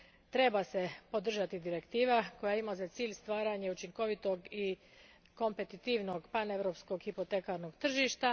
Treba se podržati direktiva koja ima za cilj stvaranje učinkovitog i kompetitivnog paneuropskog hipotekarnog tržišta.